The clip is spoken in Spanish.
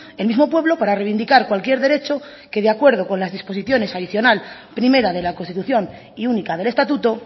el mismo pueblo para reivindicar cualquier derecho que de acuerdo con las disposiciones adicional primera de la constitución y única del estatuto